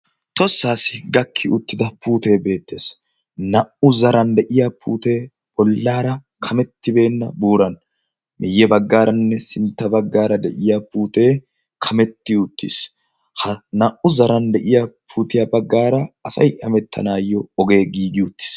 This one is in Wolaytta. toossaassi gakki uttida puutee beettees. naa77u zaran de7iya puutee bollaara kamettibeenna buuran miyye baggaaranne sintta baggaara de7iya puutee kametti uttiis. ha naa77u zaran de7iya puutiya baggaara asai hamettanaayyo ogee giigi uttiis.